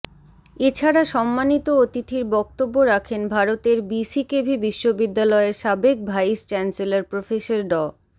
এ ছাড়া সম্মানিত অতিথির বক্তব্য রাখেন ভারতের বিসিকেভি বিশ্ববিদ্যালয়ের সাবেক ভাইস চ্যান্সেলর প্রফেসর ড